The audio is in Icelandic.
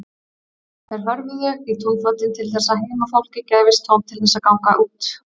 Þeir hörfuðu í túnfótinn til þess að heimafólki gæfist tóm til þess að ganga út.